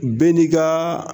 Bɛɛ n'i ka